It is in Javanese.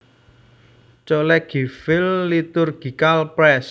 Collegeville Liturgical Press